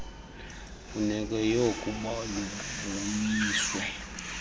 mfuneko yookuba lubuyiswe